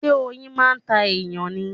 Ṣé oyin máa ń ta èyàn ni?